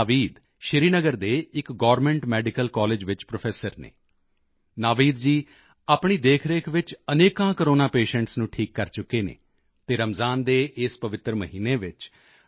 ਨਾਵੀਦ ਸ਼੍ਰੀਨਗਰ ਦੇ ਇੱਕ government medical college ਵਿੱਚ ਪ੍ਰੋਫੈਸਰ ਹਨ ਨਾਵੀਦ ਜੀ ਆਪਣੀ ਦੇਖਰੇਖ ਵਿੱਚ ਅਨੇਕਾਂ ਕੋਰੋਨਾ ਪੇਸ਼ੈਂਟਸ ਨੂੰ ਠੀਕ ਕਰ ਚੁੱਕੇ ਹਨ ਅਤੇ ਰਮਜਾਨ ਦੇ ਇਸ ਪਵਿੱਤਰ ਮਹੀਨੇ ਵਿੱਚ ਡਾ